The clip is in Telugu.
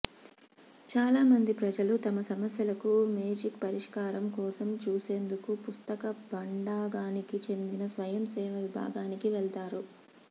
చాలామంది ప్రజలు తమ సమస్యలకు మేజిక్ పరిష్కారం కోసం చూసేందుకు పుస్తక భాండాగానికి చెందిన స్వయంసేవ విభాగానికి వెళతారు